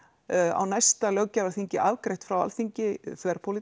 á næsta löggjafarþingi afgreitt frá Alþingi